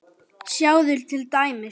Sjáðu til dæmis